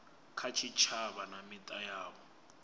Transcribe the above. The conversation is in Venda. kha tshitshavha na mita yavho